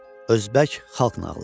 Özbək xalq nağılı.